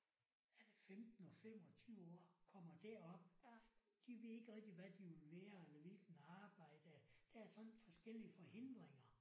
Er det 15 og 25 år kommer derop. De ved ikke rigtig hvad de vil være eller hvilken arbejde der er sådan forskellige forhindringer